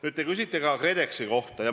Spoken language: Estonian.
Nüüd, te küsite ka KredExi kohta.